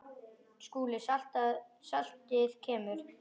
SKÚLI: Saltið kemur.